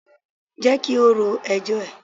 Jẹ́ kí ó ro ẹjọ́ ẹ̀.